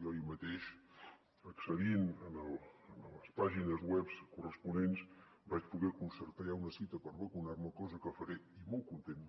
jo ahir mateix accedint a les pàgines webs corresponents vaig poder concertar ja una cita per vacunar me cosa que faré i molt content